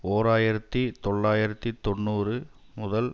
ஓர் ஆயிரத்தி தொள்ளாயிரத்தி தொன்னூறு முதல்